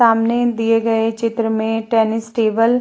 सामने दिए गए चित्र में टेनिस टेबल --